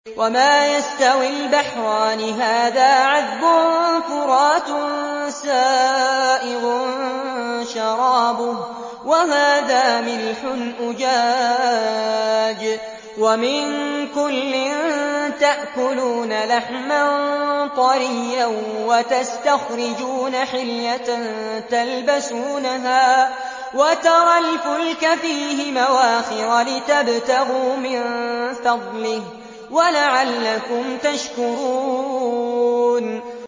وَمَا يَسْتَوِي الْبَحْرَانِ هَٰذَا عَذْبٌ فُرَاتٌ سَائِغٌ شَرَابُهُ وَهَٰذَا مِلْحٌ أُجَاجٌ ۖ وَمِن كُلٍّ تَأْكُلُونَ لَحْمًا طَرِيًّا وَتَسْتَخْرِجُونَ حِلْيَةً تَلْبَسُونَهَا ۖ وَتَرَى الْفُلْكَ فِيهِ مَوَاخِرَ لِتَبْتَغُوا مِن فَضْلِهِ وَلَعَلَّكُمْ تَشْكُرُونَ